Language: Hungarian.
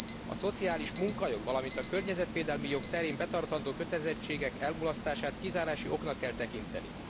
A szociális munkajog, valamint a környezetvédelmi jog terén betartandó kötelezettségek elmulasztását kizárási oknak kell tekinteni.